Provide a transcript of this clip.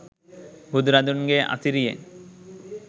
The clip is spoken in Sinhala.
බුදුරදුන්ගේ අසිරියෙන්